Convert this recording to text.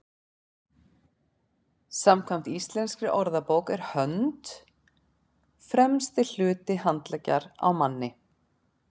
samkvæmt íslenskri orðabók er hönd „fremsti hluti handleggjar á manni